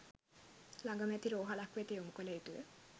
ලගම ඇති රෝහලක් වෙත යොමු කල යුතුය